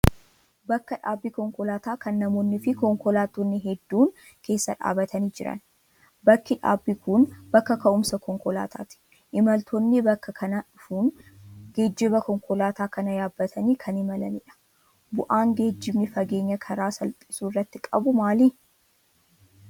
Bakka dhaabbii konkolaataa kan namoonniifi konkolaattonni hedduun keessa dhaabbatanii jiran. Bakki dhaabbii kun bakka ka'umsa konkolaataati. Imaltoonni bakka kana dhufuun geejjiba konkolaataa kana yaabbatanii kan imalanidha. Bu'aan geejjibni fageenya karaa salphisuu irratti qabu maali?